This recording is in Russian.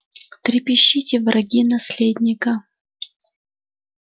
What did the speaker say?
трепещите враги наследника